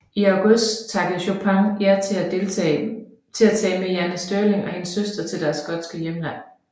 I august takkede Chopin ja til at tage med Jane Stirling og hendes søster til deres skotske hjemland